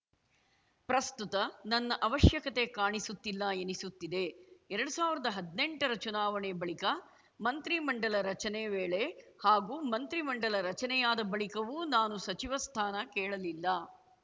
ಪ್ರಸ್ತುತ ನನ್ನ ಅವಶ್ಯಕತೆ ಕಾಣಿಸುತ್ತಿಲ್ಲ ಎನಿಸುತ್ತಿದೆ ಎರಡ್ ಸಾವಿರ್ದಾ ಹದ್ನೆಂಟರ ಚುನಾವಣೆ ಬಳಿಕ ಮಂತ್ರಿ ಮಂಡಲ ರಚನೆ ವೇಳೆ ಹಾಗೂ ಮಂತ್ರಿ ಮಂಡಲ ರಚನೆಯಾದ ಬಳಿಕವೂ ನಾನು ಸಚಿವ ಸ್ಥಾನ ಕೇಳಲಿಲ್ಲ